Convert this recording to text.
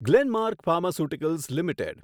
Glenmark pharmaceuticals limited